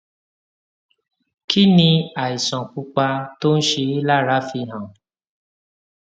kí ni àìsàn pupa tó ń ṣe é lára fi hàn